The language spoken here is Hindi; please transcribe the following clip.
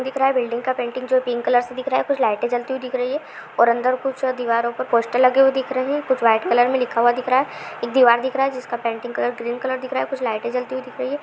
दिख रहा है बिल्डिंग का पेंटिंग जो पिंक कलर से दिख रहा है कुछ लाइटें जलती हुई दिख रही है और अंदर कुछ दीवारों पर पोस्टर लगे हुए दिख रहे है कुछ व्हाइट कलर में लिखा हुआ दिख रहा है एक दीवार दिख रहा है जिसका पेंटिंग कलर ग्रीन कलर दिख रहा है कुछ लाइटें जलती हुई दिख रही है।